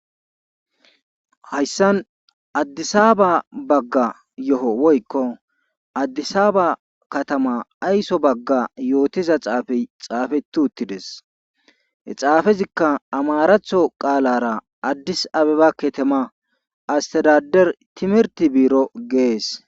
hayssan addisaaba bagga yo7o woykko addisaaba katama ayso bagga yootiza xaafey xaafetu uttides he xaafezikka amaratho qaalara addis abebakketema astirader timirti biiro gees